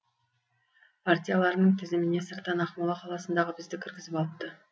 партияларының тізіміне сырттан ақмола қаласындағы бізді кіргізіп алыпты